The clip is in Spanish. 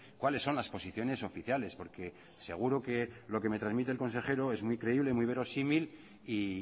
cuáles son las posiciones oficiales porque seguro que lo que me transmite el consejero es muy creíble muy verosímil y